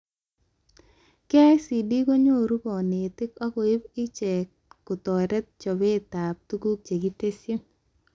KICD konyoru konetik ak koib ichee kotoret chobetab tuguk chekitesyi